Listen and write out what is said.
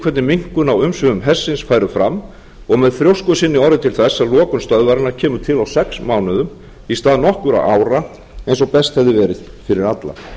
hvernig minnkun á umsvifum hersins færu fram og með þrjósku sinni orðið til þess að lokun stöðvarinnar kemur til á sex mánuðum í stað nokkurra ára eins og best hefði verið fyrir alla